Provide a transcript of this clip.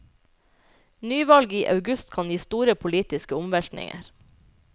Nyvalg i august kan gi store politiske omveltninger.